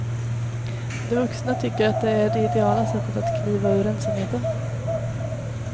De vuxna tycker att det är det ideala sättet att kliva ur ensamheten.